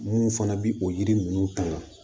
Mun fana bɛ o yiri ninnu ta